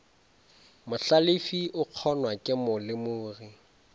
mohlalefi o kgonwa ke molemogi